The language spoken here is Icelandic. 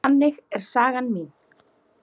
Þannig er saga mín.